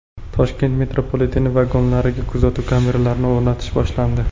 Toshkent metropoliteni vagonlariga kuzatuv kameralarini o‘rnatish boshlandi.